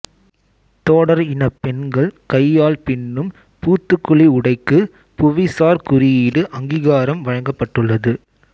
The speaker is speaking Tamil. தோடர் இனப் பெண்கள் கையால் பின்னும் பூத்துக்குளி உடைக்கு புவிசார் குறியீடு அங்கீகாரம் வழங்கப்பட்டுள்ளது